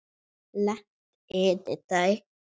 Leggst yfir þær.